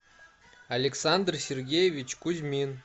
александр сергеевич кузьмин